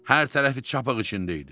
Hər tərəfi çapaq içində idi.